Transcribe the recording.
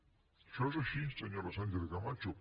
això és així senyora sánchez camacho